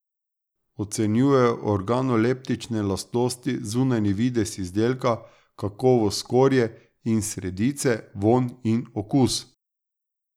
Ocenjujejo organoleptične lastnosti, zunanji videz izdelka, kakovost skorje in sredice, vonj in okus.